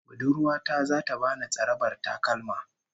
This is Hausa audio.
Budurwa ta zata bani tsarabar takalma